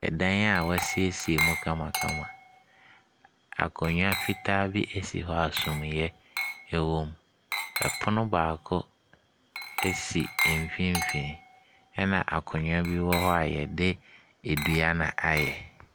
Ɛdan a wɔasiesie mu kamakama, akonnwa fitaa bi si hɔ a sumiiɛ wɔ mu, Ɛpono baako si mfimfini, ɛna akonnwa bi wc hɔ a wɔde dua na ayɛ.